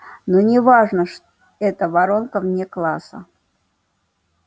но не важно это воронка вне класса